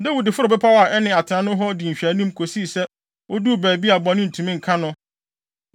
Dawid foroo bepɔw a ɛne atenae hɔ di nhwɛanim kosii sɛ oduu baabi a bɔne bi ntumi nka no.